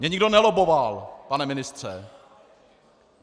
Mě nikdo nelobboval, pane ministře.